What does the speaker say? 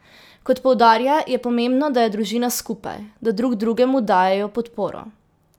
Kot poudarja, je pomembno, da je družina skupaj, da drug drugemu dajejo podporo.